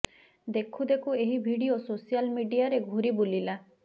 ଦେଖୁ ଦେଖୁ ଏହି ଭିଡିଓ ସୋସିଆଲ୍ ମିଡ଼ିଆରେ ଘୁରି ବୁଲିଲା